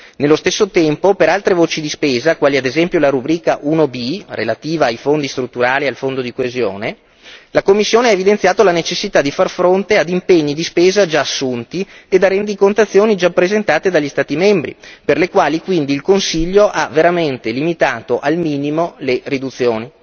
Nello stesso tempo, per altre voci di spesa, come ad esempio la rubrica 1b, relativa ai Fondi strutturali e al Fondo di coesione, la Commissione ha evidenziato la necessità di far fronte ad impegni di spesa già assunti ed a rendicontazioni già presentate dagli Stati membri, per le quali quindi il Consiglio ha veramente limitato al minimo le riduzioni.